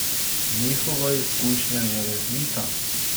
Njihova izkušnja je resnica.